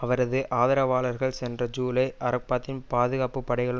அவரது ஆதரவாளர்கள் சென்ற ஜூலை அரபாத்தின் பாதுகாப்பு படைகளுன்